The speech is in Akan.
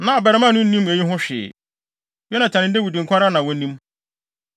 Na abarimaa no nnim eyi ho hwee; Yonatan ne Dawid nko ara na na wonim.